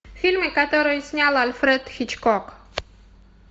фильмы которые снял альфред хичкок